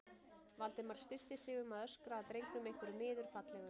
Valdimar stillti sig um að öskra að drengnum einhverju miður fallegu.